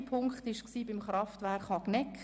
Mein westlichster Punkt lag beim Kraftwerk Hagneck.